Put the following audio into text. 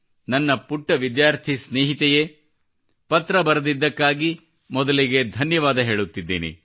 ನನ್ನ ಪುಟ್ಟ ವಿದ್ಯಾರ್ಥಿ ಸ್ನೇಹಿತೆಯೇ ಪತ್ರ ಬರೆದಿದ್ದಕ್ಕಾಗಿ ಮೊದಲಿಗೆ ಧನ್ಯವಾದ ಹೇಳುತ್ತಿದ್ದೇನೆ